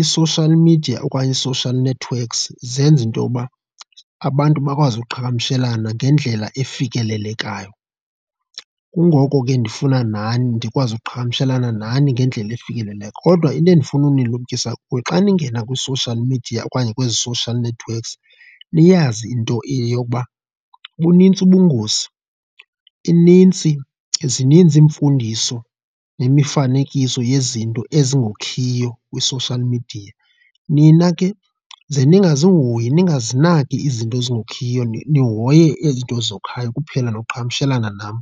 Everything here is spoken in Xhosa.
i-social media okanye ii-social networks zenza intoba abantu bakwazi ukuqhagamshelana ngendlela efikelelekayo, kungoko ke ndifuna nani ndikwazi ukuqhagamshelana nani ngendlela efikelelekayo. Kodwa into endifuna ukunilumkisa kuyo, xa ningena kwi-social media okanye kwezi social networks niyazi into eyokuba bunintsi ubungozi, inintsi, zininzi iimfundiso nemifanekiso yezinto ezingokhiyo kwi-social media. Nina ke ze ningazihoyi, ningazinaki izinto ezingokhiyo nihoye izinto ezokhayo kuphela nokuqhagamshelana nam.